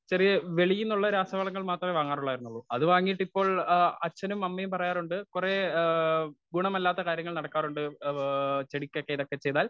Speaker 1 ചെറിയ വെളിയിൽ നിന്നുള്ള രാസവളങ്ങൾ മാത്രമേ വങ്ങാറുള്ളയിരുന്നൊള്ളു. അതു വാങ്ങിയിട്ടിപ്പോൾ ആ അച്ഛനും അമ്മയും പറയാറുണ്ട് കുറെ ഗുണമല്ലാത്ത കാര്യങ്ങൾ നടക്കാറുണ്ട്. ആ ആ ചെടിക്കൊക്ക ഇതൊക്കെ ചെയ്താൽ .